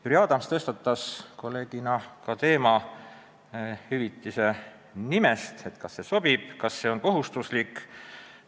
Jüri Adams tõstatas teema, kas seda raha on õige nimetada hüvitiseks ja kas see on kohustuslik vastu võtta.